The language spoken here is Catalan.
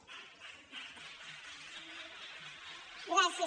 gràcies